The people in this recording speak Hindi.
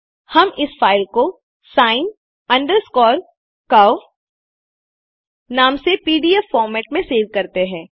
हम इस फाइल को सिन अंडरस्कोर कर्व नाम से पीडीएफ फॉर्मेट में सेव करते हैं